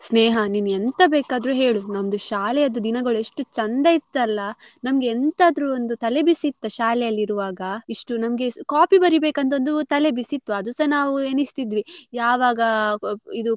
ಸ್ನೇಹ ನೀನು ಎಂತ ಬೇಕಾದ್ರು ಹೇಳು ನಮ್ದು ಶಾಲೆದ್ದು ದಿನಗಳು ಎಷ್ಟು ಚಂದ ಇತ್ತಲ್ಲ ನಮ್ಗೆ ಎಂತಾದ್ರೂ ಒಂದು ತಲೆ ಬಿಸಿ ಇತ್ತ ಶಾಲೆಯಲ್ಲಿ ಇರುವಾಗ ಇಷ್ಟು ನಮ್ಗೆ copy ಬರಿಬೇಕಂತ ಒಂದು ತಲೆ ಬಿಸಿ ಇತ್ತು ಅದುಸ ನಾವ್ ಎಣಿಸ್ತಿದ್ವಿ ಯಾವಾಗ ಇದು.